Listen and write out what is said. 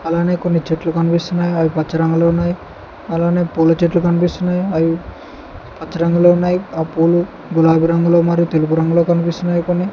అలానే కొన్ని చెట్లు కనిపిస్తున్నాయ్ అవి పచ్చ రంగులో ఉన్నాయ్ అలానే పూల చెట్లు కనిపిస్తున్నాయ్ అవి పచ్చ రంగులో ఉన్నాయ్ ఆ పూలు గులాబి రంగులో మరియు తెలుపు రంగులో కన్పిస్తున్నాయ్ కొన్ని.